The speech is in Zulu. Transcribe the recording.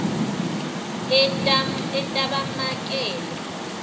etabamakele